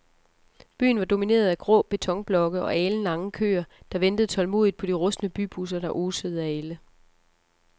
Byen var domineret af grå betonblokke og alenlange køer, der ventede tålmodigt på de rustne bybusser, der osede af ælde.